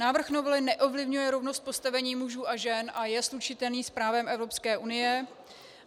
Návrh novely neovlivňuje rovnost postavení mužů a žen a je slučitelný s právem Evropské unie.